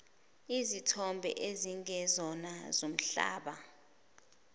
izithombe ezingezona zombala